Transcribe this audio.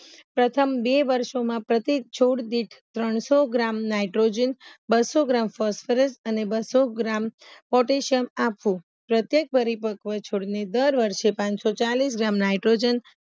પ્રથમ બે વર્ષોમાં પ્રત્યેક છોણ દીઠ ત્રણસો ગ્રામ નાઈટ્રોજન બસો ગ્રામ ફોસ્ફરસ અને બસો ગ્રામ પોટેસ્યમ આપવું પ્રત્યેક પરિપક્વ છોડને દર વર્ષે પનસોચાલીસ ગ્રામ નાઈટ્રોજન